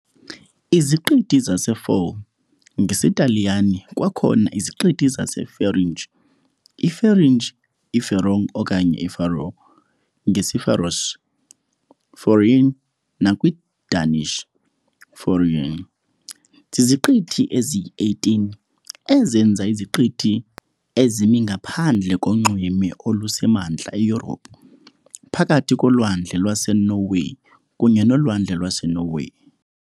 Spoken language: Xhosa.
IZiqithi zaseFaroe, ngesiTaliyane kwakhona - iZiqithi zeFeringie, iFaringie, iFeroe okanye iFaroe, ngesiFaroese -"Føroyar" nakwiDanish -"Faerøerne", ziziqithi eziyi-18 ezenza iziqithi ezimi ngaphandle konxweme olusemantla eYurophu, phakathi koLwandle lwaseNorway kunye noLwandle lwaseNorway.